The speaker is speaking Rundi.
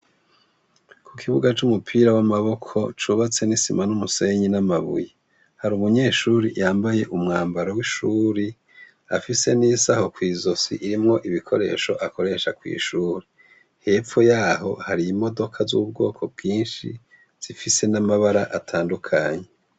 Ku kuibuga c'umupira w'amaboko, cubatse n'isima n'umusenyi, n'amabuye, har'urumunyeshure yambaye umwambaro w'ishure, afise n'isaho kw'izosi irimwo ibikoresho akoresha kw’ishure. Hepfo yaho, har'imodoka zubwoko bwinshi zifise n'amabara atandukanye.